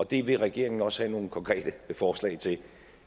det vil regeringen også have nogle konkrete forslag til og